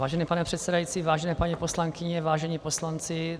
Vážený pane předsedající, vážené paní poslankyně, vážení poslanci.